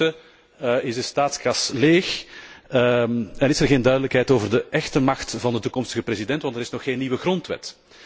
Ondertussen is de staatskas leeg en is er geen duidelijkheid over de echte macht van de toekomstige president, want er is nog geen nieuwe grondwet.